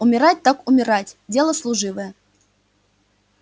умирать так умирать дело служивое